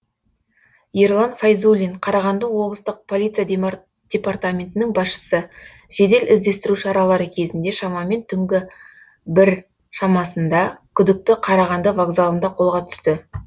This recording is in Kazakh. ерлан файзуллин қарағанды облыстық полиция департаментінің басшысы жедел іздестіру шаралары кезінде шамамен түнгі бір шамасында күдікті қарағанды вокзалында қолға түсті